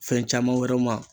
Fɛn caman wɛrɛw ma.